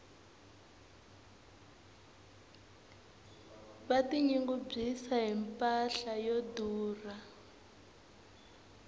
va ti nyungubyisa hi mpahla yo durha